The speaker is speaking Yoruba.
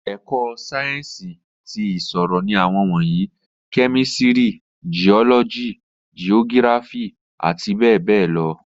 Ẹ̀kọ́ Sáyẹ́ǹsì ti ìṣirò ní àwọn wọ̀nyí, kẹ́mísìrì, jiọ́lọ́jì, jiógíráfì àti bẹẹbẹẹ lọ